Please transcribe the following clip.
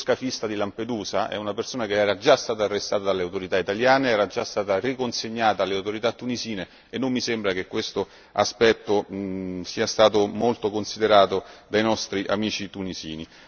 Perché, lo scafista di Lampedusa è una persona che era già stata arrestata dalle autorità italiane, era già stata riconsegnata alle autorità tunisine e non mi sembra che quest'aspetto sia stato molto considerato dai nostri amici tunisini.